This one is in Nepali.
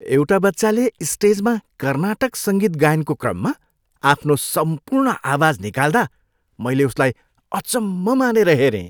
एउटा बच्चाले स्टेजमा कर्नाटक सङ्गीत गायनको क्रममा आफ्नो सम्पूर्ण आवाज निकाल्दा मैले उसलाई अचम्म मानेर हेरेँ।